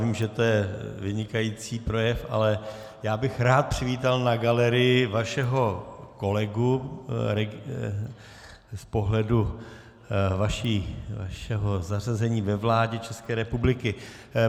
Vím, že to je vynikající projev, ale já bych rád přivítal na galerii vašeho kolegu z pohledu vašeho zařazení ve vládě České republiky.